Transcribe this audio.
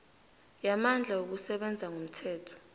yamandla wokusebenza ngomthetho